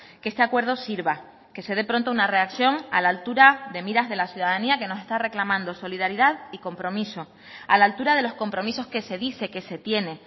que este acuerdo sirva que se dé pronto una reacción a la altura de miras de la ciudadanía que nos está reclamando solidaridad y compromiso a la altura de los compromisos que se dice que se tiene